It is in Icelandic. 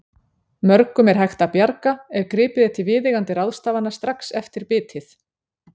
Mörgum er hægt að bjarga ef gripið er til viðeigandi ráðstafana strax eftir bitið.